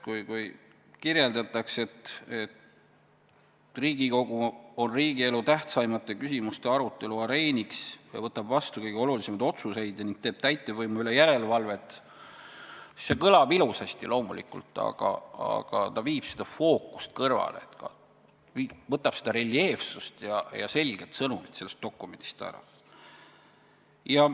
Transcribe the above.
Kui kirjeldatakse, et Riigikogu on riigielu tähtsaimate küsimuste arutelu areeniks ja võtab vastu kõige olulisemaid otsuseid ja teeb täitevvõimu üle järelevalvet, siis see kõlab loomulikult ilusasti, aga ta viib fookust kõrvale, võtab reljeefsust ja selget sõnumit sellest dokumendist ära.